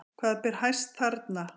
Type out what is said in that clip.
Hvað ber hæst þarna?